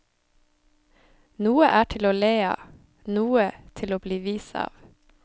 Noe er til å le av, noe til å bli vis av.